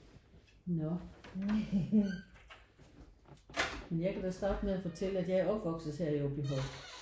Nårh men jeg kan da starte med at fortælle at jeg er opvokset her i Aabyhøj